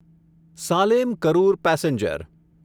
Salem Karur passenger